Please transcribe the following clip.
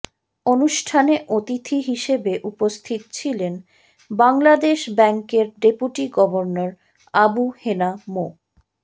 অনুষ্ঠানে অতিথি হিসেবে উপস্থিত ছিলেন বাংলাদেশ ব্যাংকের ডেপুটি গভর্নর আবু হেনা মো